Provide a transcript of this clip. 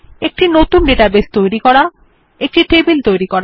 একটি নতুন ডাটাবেস তৈরি করা একটি টেবিল তৈরি করা